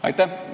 Aitäh!